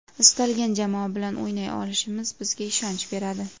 Istalgan jamoa bilan o‘ynay olishimiz bizga ishonch beradi.